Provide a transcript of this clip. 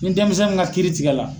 Ni denmisɛn min ka kiiri tigɛ la.